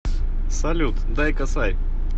салют дай косарь